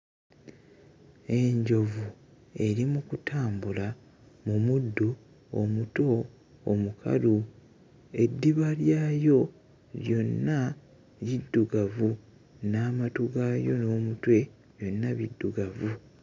Enjovu eri mu kutambula mu muddo omuto omukalu, eddiba lyayo lyonna liddugavu n'amatu gaayo n'omutwe byonna biddugavu.